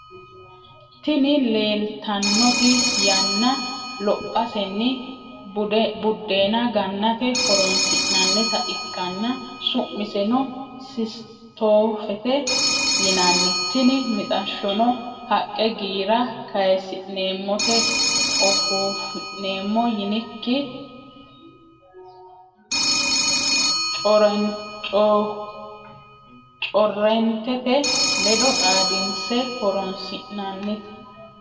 Tini leleitanoti yanna lophasseni budena ganatte horonisinanita ikana su’miseno sisittofete yinanni tini mitashono haqqe girra kayisinemote ofifinemo yinikinni correntete ledo xadinise horonisinanite.